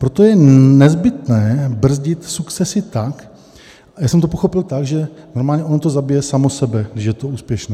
Proto je nezbytné brzdit sukcesi tak" - já jsem to pochopil tak, že normálně ono to zabije samo sebe, když je to úspěšné.